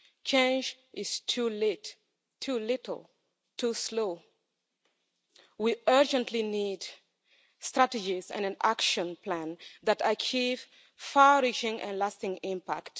Change is too late, too little, too slow. We urgently need strategies and an action plan that achieve far reaching and lasting impact.